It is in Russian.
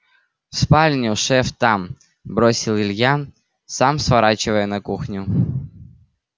в спальню шеф там бросил илья сам сворачивая на кухню